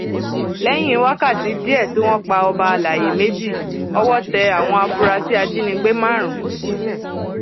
lẹyìn wákàtí díẹ tí wọn pa ọba àlàyé méjì ọwọ tẹ àwọn afurasí ajínigbé márùn